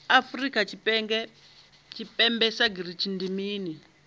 afrika tshipembe sagnc ndi mini